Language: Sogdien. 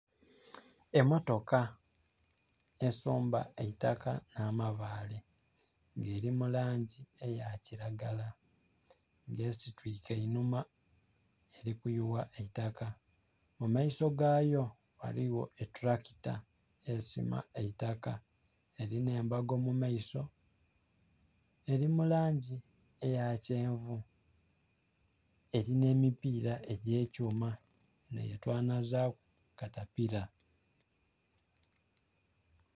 Emmotoka esomba eitaka nh'amabaale nga eli mu langi eya kilagala, nga esitwiike einhuma eli kuyugha eitaka. Mu maiso gayo ghaligho etulakita esima eitaka, elinha embago mu maiso. Eli mu langi eya kyenvu. Elina emipiira egy'ekyuma enho yetwanazaaku katapila.